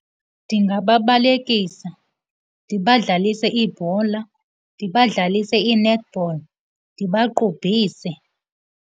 Ndingababalekisa, ndibadlalise ibhola, ndibadlalise i-netball, ndibaqubhise.